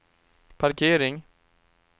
parkering